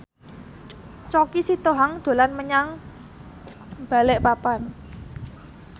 Choky Sitohang dolan menyang Balikpapan